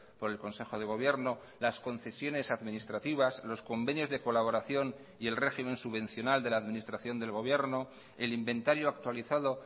por el consejo de gobierno las concesiones administrativas los convenios de colaboración y el régimen subvencional de la administración del gobierno el inventario actualizado